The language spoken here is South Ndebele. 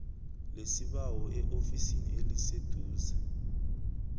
lesibawo eofisini eliseduze